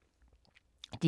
DR K